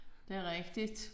Det er rigtigt